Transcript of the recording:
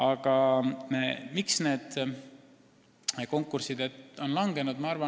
Aga miks nende konkursside populaarsus on langenud?